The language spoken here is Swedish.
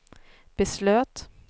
beslöt